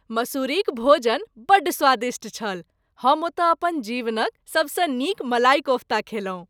मसूरीक भोजन बड्ड स्वादिष्ट छल। हम ओतय अपन जीवनक सबसँ नीक मलाई कोफ्ता खयलहुँ।